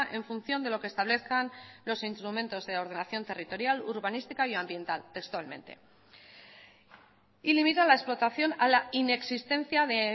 en función de lo que establezcan los instrumentos de ordenación territorial urbanística y ambiental textualmente y limita la explotación a la inexistencia de